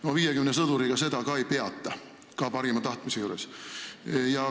No 50 sõduriga seda ei peata ka parima tahtmise juures.